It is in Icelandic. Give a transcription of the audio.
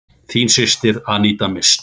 Þín systir, Aníta Mist.